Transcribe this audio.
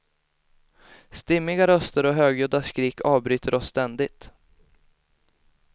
Stimmiga röster och högljudda skrik avbryter oss ständigt.